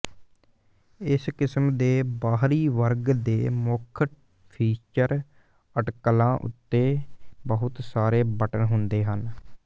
ਇਸ ਕਿਸਮ ਦੇ ਬਾਹਰੀ ਵਰਗ ਦੇ ਮੁੱਖ ਫੀਚਰ ਅਟਕਲਾਂ ਉੱਤੇ ਬਹੁਤ ਸਾਰੇ ਬਟਨ ਹੁੰਦੇ ਹਨ